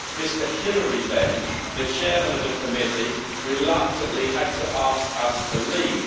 Mr Hilary Benn, the Chair of the committee, reluctantly had to ask us to leave.